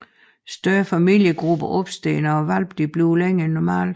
Større familiegrupper opstår når hvalpene bliver længere end normalt